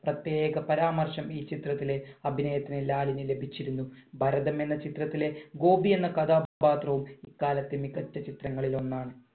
പ്രത്യേക പരാമർശം ഈ ചിത്രത്തിലെ അഭിനയത്തിന് ലാലിന് ലഭിച്ചിരുന്നു. ഭരതം എന്ന ചിത്രത്തിലെ ഗോപി എന്ന കഥാപാത്രവും ഇക്കാലത്തെ മികച്ച ചിത്രങ്ങളിൽ ഒന്നാണ്.